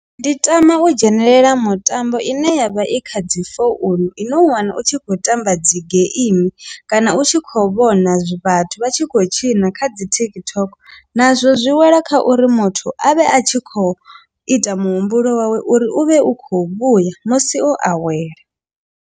Ndi tama u dzhenelela mutambo ine yavha i kha dzi founu i no u wana u tshi khou tamba dzi geimi kana u tshi kho vhona vhathu vha tshi khou tshina kha dzi TikTok nazwo zwi wela kha uri muthu avhe a tshi khou ita muhumbulo wawe uri u vhe u khou vhuya musi o awela.